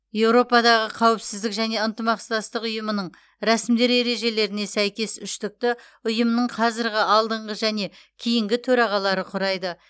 еуропадағы қауіпсіздік және ынтымақтастық ұйымының рәсімдер ережелеріне сәйкес үштікті ұйымның қазырғы алдыңғы және кейінгі төрағалары құрайды